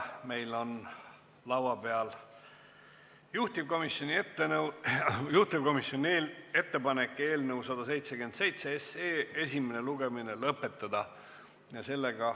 Meil on laua peal juhtivkomisjoni ettepanek eelnõu 177 esimene lugemine lõpetada.